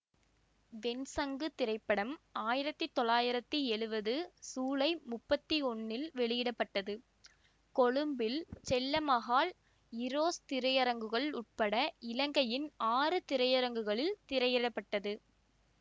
வெண்சங்கு திரைப்படம் ஆயிரத்தி தொள்ளாயிரத்தி எழுவது சூலை முப்பத்தி ஒன்னில் வெளியிட பட்டது கொழும்பில் செல்லமஹால் ஈரோஸ் திரையரங்குகள் உட்பட இலங்கையின் ஆறு திரையரங்குகளில் திரையிட பட்டது